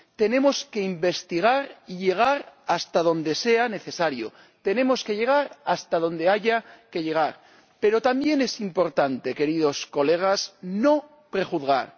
Tenemos que investigar y llegar hasta donde sea necesario, tenemos que llegar hasta donde haya que llegar, pero también es importante, queridos colegas, no prejuzgar.